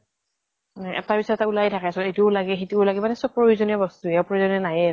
এটাৰ পিছত এটা ওলাইয়ে থাকে চোন । ইতোও লাগে সিতোও লাগে । মানে চব প্ৰয়োজনীয় বস্তুয়ে, অপ্ৰয়োজনীয় নাইয়েই ।